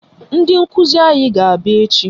Ndị nkụzi anyị ga-abịa echi